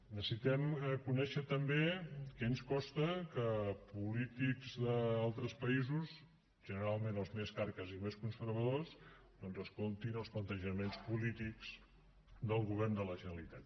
necessitem conèixer també què ens costa que polítics d’altres països generalment els més carques i més conservadors doncs escoltin els plantejaments polítics del govern de la generalitat